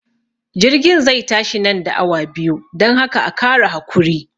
jirgin zai tashi nan da awa biyu, dan haka a Kara hakuri.